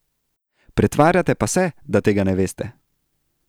Pretvarjate pa se, da tega ne veste.